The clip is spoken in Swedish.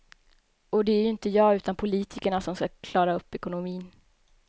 Och det är ju inte jag utan politikerna som ska klara upp ekonomin.